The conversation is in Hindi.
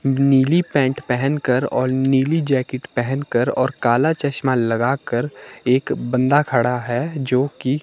नीली पैंट पहन कर और नीली जैकेट पहन कर और काला चश्मा लगाकर एक बंदा खड़ा है जोकि--